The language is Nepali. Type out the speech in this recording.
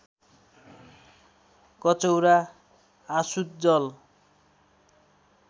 कचौरा आसुत जल